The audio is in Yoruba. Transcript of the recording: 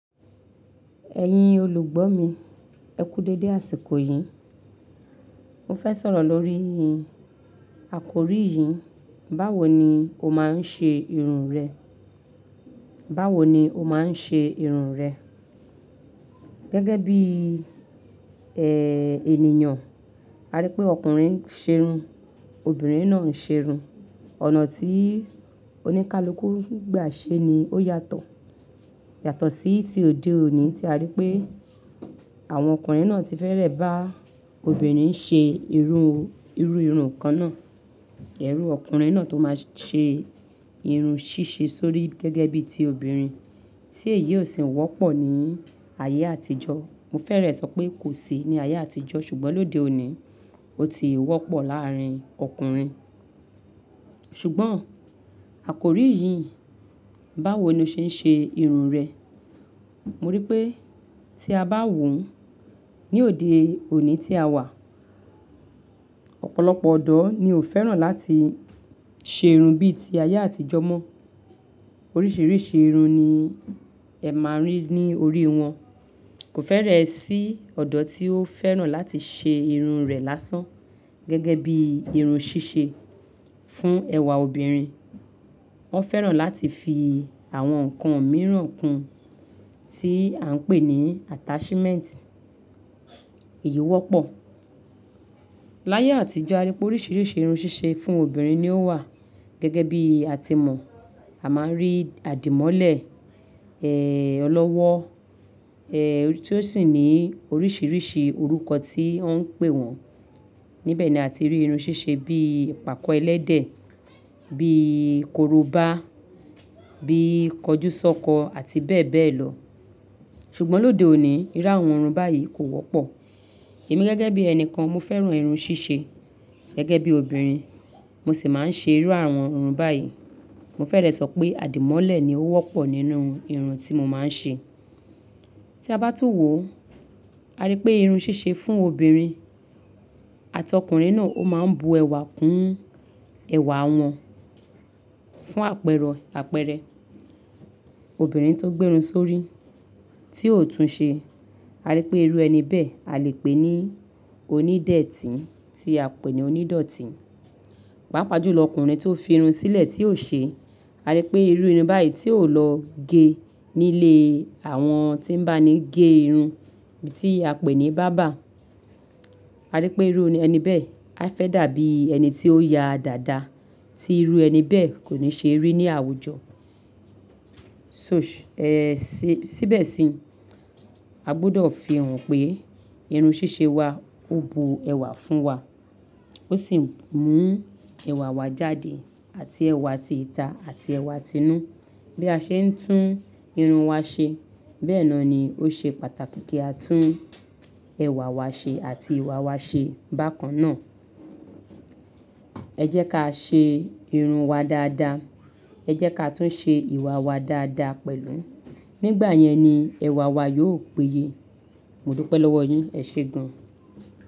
Ẹ̀yin olùgbọ́ mi, ẹ kú dédé, àsìkò yìí mo fẹ́ sọ̀rọ̀ lórí àkórí yìí: báwo ni o máa ń ṣe irun rẹ? Báwo ni o máa ń ṣe irun rẹ? Gẹ́gẹ́ bí i, ẹ́, ènìyàn, a rí pé ọkùnrin ń ṣe irun, obìnrin náà ń ṣe irun. Ọ̀nà tí oníkálukú gba ṣe ni ó yàtọ̀. Yàtọ̀ sí ti òde òní tí a rí pé àwọn ọkùnrin náà ti fẹ́rẹ̀ bá obìnrin ṣe irun, irú irun kan náà. Ẹ̀ri ọkùnrin náà tó máa ṣe irun ṣíṣe sórí, gẹ́gẹ́ bí i ti obìnrin, tí èyí ò sì wọ́pọ̀ ní ayé àtijọ́. Mo fẹ́rẹ̀ẹ́ sọ pé kò sí ní ayé àtijọ́, ṣùgbọ́n lóde òní, ó ti wọ́pọ̀ láàárín ọkùnrin. Ṣùgbọ́n àkórí yìí, báwo ni ó ṣe ń ṣe irun rẹ̀? Mo rí i pé tí a bá wò ó, ní òde òní tí a wà, ọ̀pọ̀lọpọ̀ ọ̀dọ́ ni ó fẹ́ràn láti ṣe irun bí i ti ayé àtijọ́ mọ́. Oríṣìíríṣìí irun ni ẹ máa rí ní orí wọn. Kò fẹ́rẹ̀ẹ́ sí ọ̀dọ́ tí ó fẹ́ràn láti ṣe irun rẹ̀ lásán, gẹ́gẹ́ bí i irun ṣíṣe fún ẹwà obìnrin. Wọ́n fẹ́ràn láti fi àwọn nǹkan mìíràn kún, tí à ń pè ní attachment. Èyí wọ́pọ̀. Láyé àtijọ́, a rí pé oríṣìíríṣìí irun ṣíṣe fún obìnrin ni ó wà. Gẹ́gẹ́ bí a ti mọ̀, a máa ń rí àdìmọ́lẹ̀, ẹ́, ọlọ́wọ́, ẹ́, tí ó sì ní oríṣìíríṣìí orúkọ tí wọ́n ń pè wọ́n. Níbẹ̀ ni àti rí irun ṣíṣe bí ipàkọ́ ẹlẹ́dẹ̀, bí i korobá, bí i kọjúsọ́kọ àti bẹ́ẹ̀ bẹ́ẹ̀ lọ. Ṣùgbọ́n lóde òní, ìru áwon irun báyìí kò wọ́pọ̀. Èmi gẹ́gẹ́ bí ẹni kan, mo fẹ́ràn irun ṣíṣe, gẹ́gẹ́ bí obìnrin. Mo sì máa ń ṣe irú àwọn irun báyìí. Mo fẹ́rẹ̀ẹ́ sọ pé àdìmọ́lẹ̀ ni ó wọ́pọ̀ nínú irun tí mo máa ń ṣe. Tí a bá tún wò ó, a rí pé irun ṣíṣe fún obìnrin àti ọkùnrin náà ó máa ń bu ẹwà kún ẹwà wọn fún àpẹrẹ. Obìnrin tó gbé irun sórí tí ò tún ṣe, a rí pé irú ẹni bẹ́ẹ̀ a lè pè ní onídẹ́tì tí a pè ní onídọ̀tí. Pápa jù lọ, ọkùnrin tó fi irun sílẹ̀ tí ò ṣe, a rí pé irú irun báyìí tí ò lọ gé nílé àwọn tí ń bá ni gé irun, tí a pè ní bábà. A rí pé irú ẹni bẹ́ẹ̀ a fẹ́ dàbí ẹni tí ó ya dàda, tí irú ẹni bẹ́ẹ̀ kò ní ṣe rí ní àwùjọ. So-- ẹ sì, síbẹ̀ sì, a gbọdọ̀ fi hàn pé irun ṣíṣe wa ó bu ẹwà fún wa, ó sì mú ẹwà wa jáde àti ẹwà ti ìta àti ẹwà ti inú. Bí a ṣe ń tún irun wa ṣe, bẹ́ẹ̀ náà ni ó ṣe pàtàkì kí a tún ẹwà wa ṣe àti ìwà wa ṣe bákan náà. Ẹ jẹ́ ká ṣe irun wa dáadáa. Ẹ jẹ́ ká tún ṣe ìwà wa dáadáa pẹ̀lú. Nígbà yẹn ni ẹwà wa yóò pèye. Mo dúpẹ́ lọ́wọ́ yín. Ẹ ṣe gan.